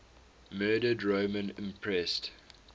murdered roman empresses